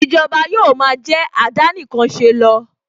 Ìjọba yóò ma jẹ́ àdánìkanṣeni lọ